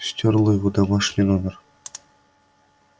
стёрла его домашний номер